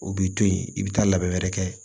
O b'i to yen i bɛ taa labɛn wɛrɛ kɛ